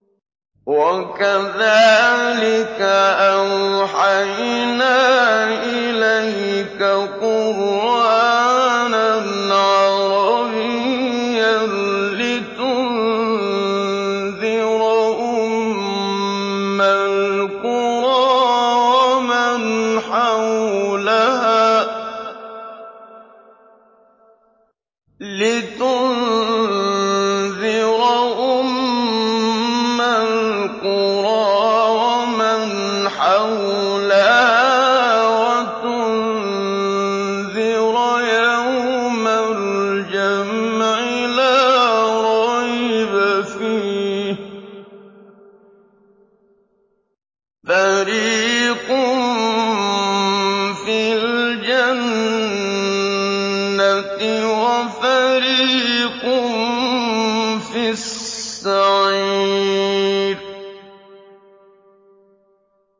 وَكَذَٰلِكَ أَوْحَيْنَا إِلَيْكَ قُرْآنًا عَرَبِيًّا لِّتُنذِرَ أُمَّ الْقُرَىٰ وَمَنْ حَوْلَهَا وَتُنذِرَ يَوْمَ الْجَمْعِ لَا رَيْبَ فِيهِ ۚ فَرِيقٌ فِي الْجَنَّةِ وَفَرِيقٌ فِي السَّعِيرِ